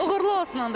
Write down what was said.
Uğurlu olsun onda.